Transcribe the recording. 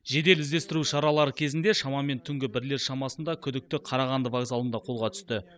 жедел іздестіру шаралары кезінде шамамен түнгі бірлер шамасында күдікті қарағанды вокзалында қолға түсті